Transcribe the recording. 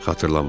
xatırlamıram.